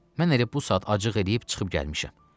Mən elə bu saat acıq eləyib çıxıb gəlmişəm.